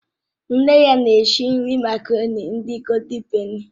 Nne ya na-esi nri makaroni ndị Goóldin pèni